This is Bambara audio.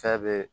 Fɛn be